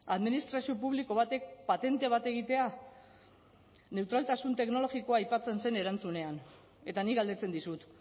administrazio publiko batek patente bat egitea neutraltasun teknologikoa aipatzen zen erantzunean eta nik galdetzen dizut